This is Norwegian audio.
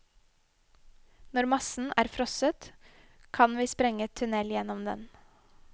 Når massen er frosset, kan vi sprenge tunnel gjennom den.